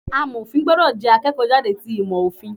Amọ̀fin gbúdọ̀ jẹ́ akẹ́kọ̀ọ́ jáde ti ìmò Òfin.